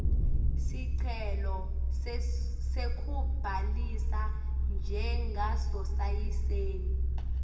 sicelo sekubhalisa njengasosayensi